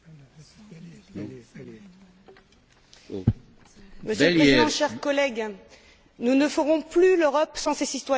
Monsieur le Président, chers collègues, nous ne ferons plus l'Europe sans ses citoyens. 2013 sera l'Année européenne des citoyens.